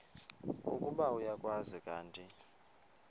ukuba uyakwazi kanti